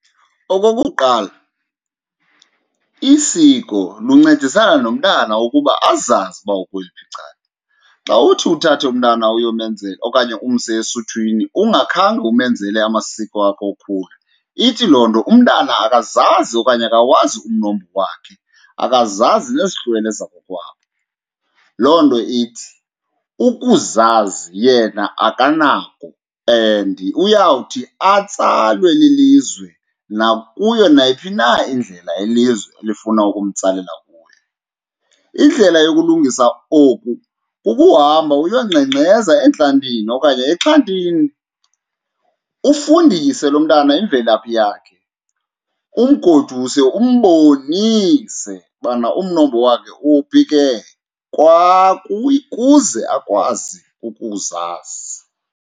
Okokuqala, isiko luncedisana nomntana ukuba azazi uba ukweliphi icala. Xa uthi uthathe umntana okanye umse esuthwini ungakhange umenzele amasiko wakhe wokhula ithi loo nto umntana akazazi okanye akawazi umnombo wakhe, akazazi nezihlwele zakokwabo. Loo nto ithi ukuzazi yena akanako and uyawuthi atsalwe lilizwe nakuyo nayiphi na indlela ilizwe elifuna ukumtsalela kuyo. Indlela yokulungisa oku kukuhamba uyongxengxeza entlantini okanye exhantini, ufundise lo mntana imvelaphi yakhe, umgoduse, umbonise ubana umnombo wakhe uphi ke kuze akwazi ukuzazi.